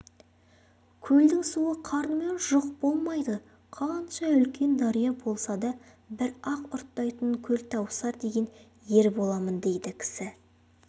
көлдің суы қарныма жұқ болмайды қанша үлкен дария болса да бір-ақ ұрттайтын көлтауысар деген ер боламын дейді кісі